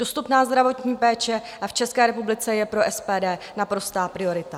Dostupná zdravotní péče v České republice je pro SPD naprostá priorita.